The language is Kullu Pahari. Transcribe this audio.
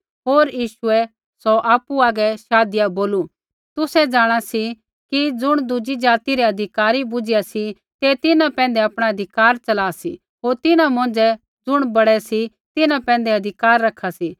होर यीशुऐ सौ आपु आगै शाधिया बोलू तुसै जाँणा सी कि ज़ुण दुज़ी ज़ाति रै अधिकारी बुझ़िया सी तै तिन्हां पैंधै आपणा अधिकार चला सी होर तिन्हां मौंझ़ै ज़ुण बड़ै सी तिन्हां पैंधै अधिकार रखा सी